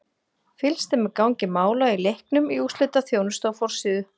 Fylgst er með gangi mála í leiknum í úrslitaþjónustu á forsíðu.